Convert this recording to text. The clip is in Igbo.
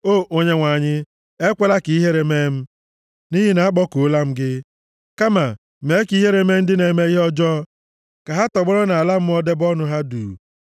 O Onyenwe anyị, ekwela ka ihere mee m, nʼihi na akpọkuola m gị; kama mee ka ihere mee ndị na-eme ihe ọjọọ, ka ha tọgbọrọ nʼala mmụọ debe ọnụ ha duu.